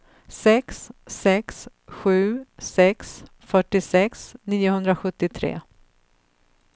sex sex sju sex fyrtiosex niohundrasjuttiotre